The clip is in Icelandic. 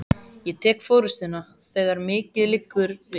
Ég tek forystuna, þegar mikið liggur við!